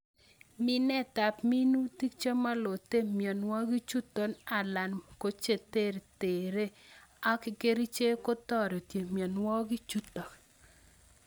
Minetab minutik chemolote mionwokikchuton alan kocheterter ak kerichek kotore minwokikchuton.